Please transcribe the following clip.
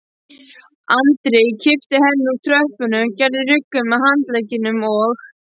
Andri kippti henni úr tröppunni, gerði ruggu með handleggjunum og